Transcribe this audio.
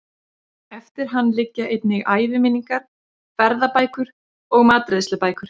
Eftir hann liggja einnig æviminningar, ferðabækur og matreiðslubækur.